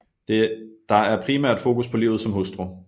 Der er primært fokus på livet som hustru